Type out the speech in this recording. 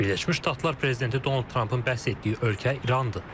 Birləşmiş Ştatlar prezidenti Donald Trampın bəhs etdiyi ölkə İrandır.